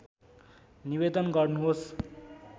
निवेदन गर्नुहोस्